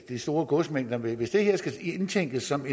de store godsmængder hvis det her skal indtænkes som